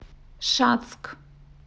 шацк